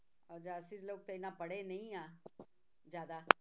ਅਸੀਂ ਲੋਕ ਤਾਂ ਇੰਨਾ ਪੜ੍ਹੇ ਨਹੀਂ ਆ ਜ਼ਿਆਦਾ